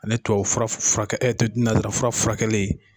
Ani tubabufura furakɛ e ɲɛ tɛ nanzara furakɛlen